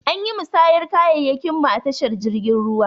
Anyi musayan kayayyakin mu a tashar jirgin ruwa.